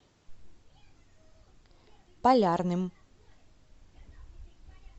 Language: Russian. полярным